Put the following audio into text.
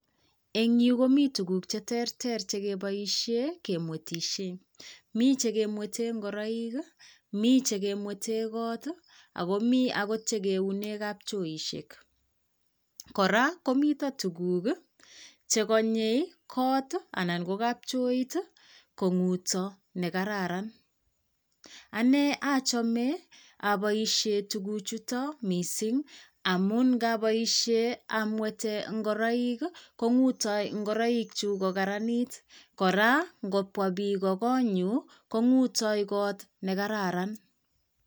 En yuu komii tukuk cheterter chekeboishen kemwetishen, mii chekemweten ingoroikii mii chekemweten kot ako mii okot chekeunen kapchoisiek, koraa komiten tukuk chekonyee kot anan ko kapchoit tii konguuto nekararan, anee ochome oboishen tukuk chutok missing amun ikabooshen amweten ingoroik kii konguuto ngoroik chuuk kokaranit koraa ikobwa bik kokonyun konguuto kot nekararan.